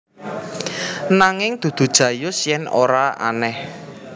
Nanging dudu Jayus yen ora aneh